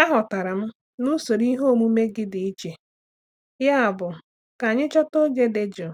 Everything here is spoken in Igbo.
Aghọtara m na usoro ihe omume gị dị iche, yabụ ka anyị chọta oge dị jụụ